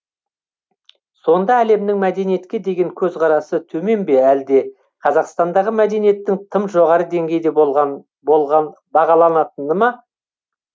сонда әлемнің мәдениетке деген көзқарасы төмен бе әлде қазақстандағы мәдениеттің тым жоғары деңгейде бағаланатыны ма